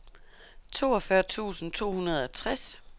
toogfyrre tusind to hundrede og tres